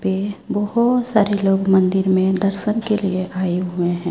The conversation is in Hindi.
पे बहोत सारे लोग मंदिर में दर्शन के लिए आए हुए हैं।